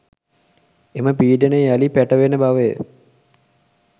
එම පීඩනය යළි පැටවෙන බවය